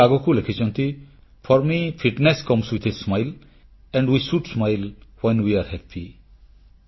ସେ ଆଗକୁ ଲେଖିଛନ୍ତି for me fitness comes with a smile and we should smile when we are happy